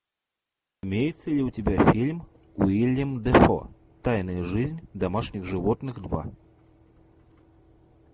имеется ли у тебя фильм уильям дефо тайная жизнь домашних животных два